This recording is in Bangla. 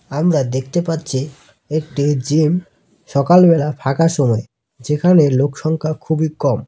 আমরা দেখতে পাচ্ছি একটি জিম সকালবেলা ফাঁকা সময় যেখানে লোকসংখ্যা খুবই কম।